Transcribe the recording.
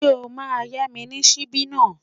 Ṣé o máa yá mi ní ṣíbí náà?